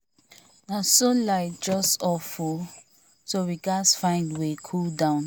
na so light just off o so we gats find way cool down